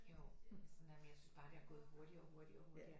Jo men sådan der men jeg synes bare det har gået hurtigere og hurtigere og hurtigere